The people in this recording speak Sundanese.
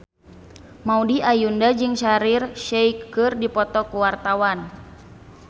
Maudy Ayunda jeung Shaheer Sheikh keur dipoto ku wartawan